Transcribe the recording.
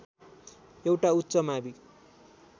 एउटा उच्च मावि